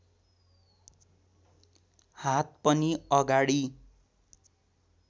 हात पनि अगाडि